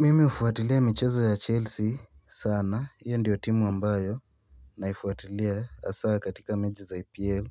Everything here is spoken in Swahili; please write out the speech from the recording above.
Mimi hufuatilia michezo ya chelsea sana hiyo ndiyo timu ambayo Naifuatilia hasa katika mechi za EPL